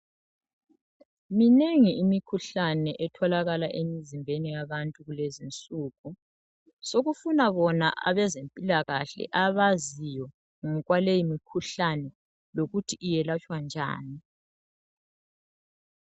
Minengi imikhuhlane etholakala emizimbeni yabantu kulezinsuku, sokufuna bona abaze mpilakahle abaziyo ngokwaleyi mikhuhlane lokuthi iyelatshwa njani.